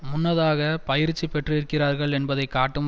முன்னதாக பயிற்சி பெற்றிருக்கிறார்கள் என்பதை காட்டும்